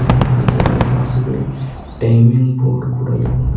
ಹಾಗೆ ಅದರ ಬಾಜುಗಡೇ ಟೈಮಿಂಗ್ ಬೋರ್ಡ್ ಕೂಡ ಇದೆ ಮತ್ತು.